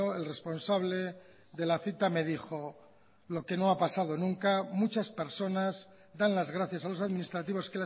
el responsable de la cita me dijo lo que no ha pasado nunca muchas personas dan las gracias a los administrativos